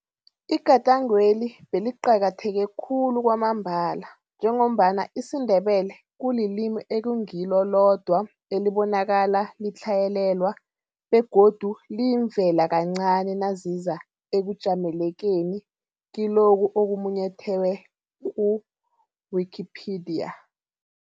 Igadangweli beliqakatheke khulu kwamambala njengombana isiNdebele kulilimi ekungilo lodwa elibonakala litlhayelelwa begodu liyimvela kancani naziza ekujamelekeni kilokho okumunyethwe ku-Wikipedia.